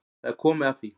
Það er komið að því.